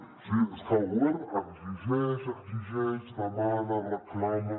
o sigui és que el govern exigeix exigeix demana reclama